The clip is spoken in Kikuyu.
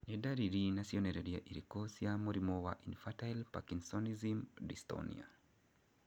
Nĩ ndariri na cionereria irĩkũ cia mũrimũ wa Infantile Parkinsonism dystonia?